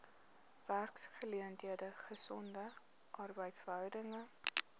werksgeleenthede gesonde arbeidsverhoudinge